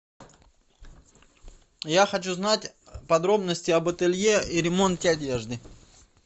я хочу знать подробности об ателье и ремонте одежды